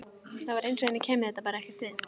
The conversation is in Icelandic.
Það var eins og henni kæmi þetta bara ekkert við.